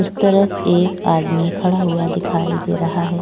उस तरफ एक आदमी खड़ा हुआ दिखाई दे रहा है।